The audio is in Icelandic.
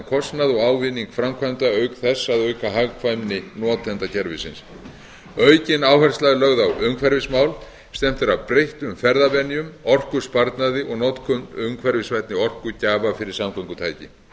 kostnað og ávinning framkvæmda auk þess að auka hagkvæmni notenda kerfisins aukin áhersla er lögð á umhverfismál stefnt er að breyttum ferðavenjum orkusparnaði og notkun umhverfisvænni orkugjafa fyrir samgöngutæki